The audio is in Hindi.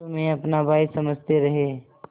तुम्हें अपना भाई समझते रहे